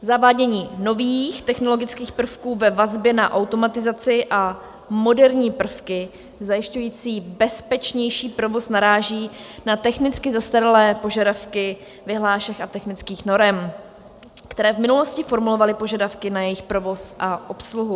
Zavádění nových technologických prvků ve vazbě na automatizaci a moderní prvky zajišťující bezpečnější provoz naráží na technicky zastaralé požadavky vyhlášek a technických norem, které v minulosti formulovaly požadavky na jejich provoz a obsluhu.